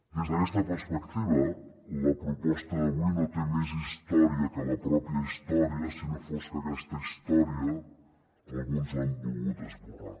des d’aquesta perspectiva la proposta d’avui no té més història que la pròpia història si no fos que aquesta història alguns l’han volgut esborrar